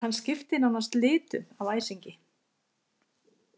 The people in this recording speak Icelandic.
Hann skipti nánast litum af æsingi.